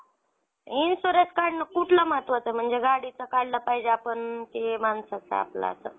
insurance काढणं कुठला महत्वाचा आहे म्हणजे गाडीचा काढला पाहिजे आपण की माणसाचा आपला असं?